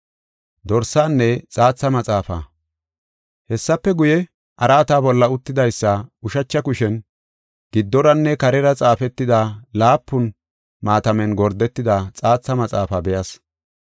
Hessafe guye, araata bolla uttidaysa ushacha kushen giddoranne karera xaafetida laapun maatamen gordetida xaatha maxaafaa be7as.